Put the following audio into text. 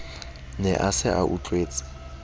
ne a se a utlwetse